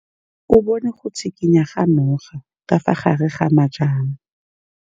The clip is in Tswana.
O bone go tshikinya ga noga ka fa gare ga majang.